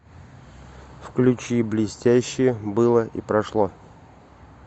включи блестящие было и прошло